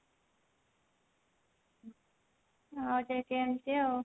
ଆଉ ସେ ସେମତି ଆଉ